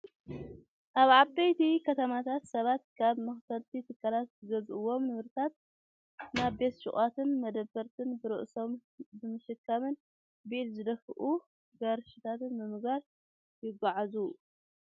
ኣብ ዓበይቲ ከተማታት ሰባት ካብ መካፈልቲ ትካላት ዝገዝእዎም ንብረታት ናብ ቤት ሹቃትን መደብራትን ብርእሶም ብምሽካምን ብኢድ ብዝድፍኡ ጋሪታትን ብምግባር የጓዓዕዙ።